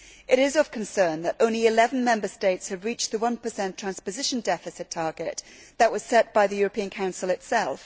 It is of concern that only 11 Member States have reached the 1 transposition deficit target that was set by the European Council itself.